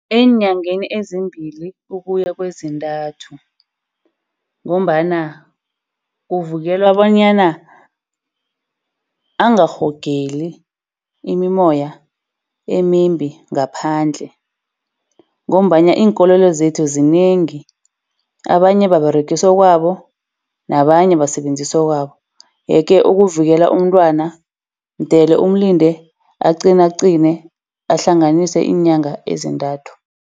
Eenyangeni ezimbili ukuya kwezintathu, ngombana kuvukelwa bonyana angarhogeli imimoya emimbi ngaphandle. Ngombana iinkolelo zethu zinengi abanye baberegisa okwabo, nabanye basebenzisa okwabo. Yeke ukuvikela umntwana mdele umlinde aqinaqine, ahlanganise iinyanga ezintathu.